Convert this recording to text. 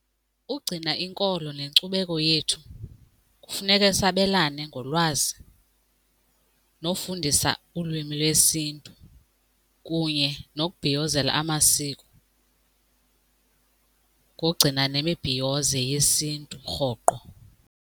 Ukugcina inkolo nenkcubeko yethu kufuneke sabelane ngolwazi nofundisa ulwimi lwesiNtu kunye nokubhiyozela amasiko ngogcina nemibhiyozo yesiNtu rhoqo.